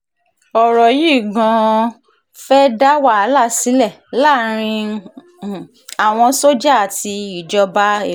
ọ̀rọ̀ um yìí gan-an fẹ́ẹ́ dá wàhálà sílẹ̀ láàrin um àwọn sójà àti ìjọba èkó